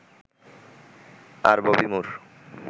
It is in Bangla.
আর ববি মুর